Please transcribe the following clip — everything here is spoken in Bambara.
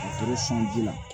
O kɛra sanji la